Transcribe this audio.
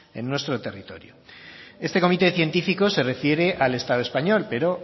en nuestro territorio este comité científico se refiere al estado español pero